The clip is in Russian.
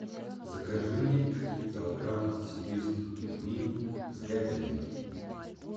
закажи мне один килограмм сибирских пельменей с говядиной